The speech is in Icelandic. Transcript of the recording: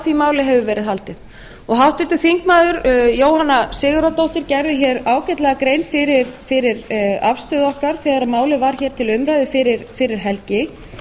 því máli hefur verið haldið háttvirtir þingmenn jóhanna sigurðardóttir gerði hér ágætlega grein fyrir afstöðu okkar þegar málið var hér til umræðu fyrir helgi